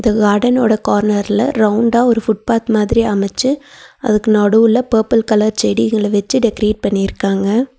இந்த காடனோட கார்னர்ல ரவுண்டா ஒரு ஃபுட் பாத் மாதிரி அமச்சு அதுக்கு நடுவுல பெபில் கலர் செடிகள வெச்சி டெக்ரேட் பண்ணிருக்காங்க.